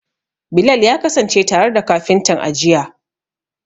Bilal ya kasance tare da kafintan, a jiya.